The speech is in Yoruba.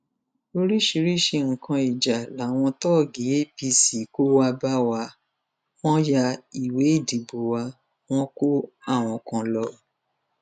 oríṣiríṣiì nǹkan ìjà làwọn tóògì apc kó wàá bá wa wọn yá ìwé ìdìbò wa wọn kó àwọn kan lọ